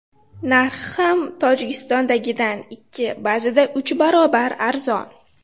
Narxi ham Tojikistondagidan ikki, ba’zida uch barobar arzon.